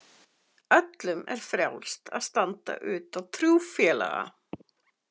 Öllum er frjálst að standa utan trúfélaga.